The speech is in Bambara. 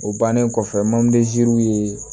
O bannen kɔfɛ mandezisiraw ye